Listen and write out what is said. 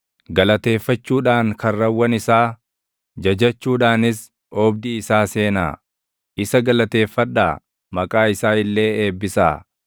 Galateeffachuudhaan karrawwan isaa, jajachuudhaanis oobdii isaa seenaa; isa galateeffadhaa; maqaa isaa illee eebbisaa.